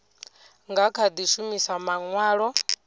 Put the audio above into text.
nga kha di shumisa manwalo